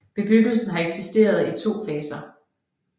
Bebyggelsen har eksisteret i to faser